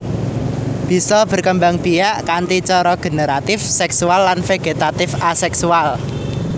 Bisa berkembangbiak kanthi cara generatif seksual lan vegetatif aseksual